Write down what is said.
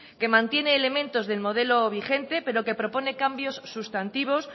que mantiene elementos del modelo vigente pero que propone cambios sustantivos